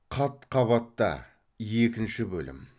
қат қабатта екінші бөлім